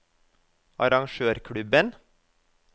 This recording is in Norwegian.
arrangørklubben